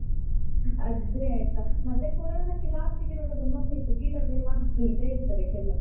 ಅದ್ದೇ ಆಯ್ತಾ. ಮತ್ತೆ corona ಕ್ಕೆ last ಗೆ ನೋಡುವಾಗ ಮನೆದು ಗಿಡವೇ ಮದ್ದಂತ ಹೇಳ್ತಾರೆ ಕೆಲವ್ರು.